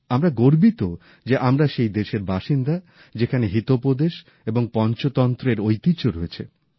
আমরা গর্বিত যে আমরা সেই দেশের বাসিন্দা যেখানে হিতোপদেশ এবং পঞ্চতন্ত্রের ঐতিহ্য রয়েছে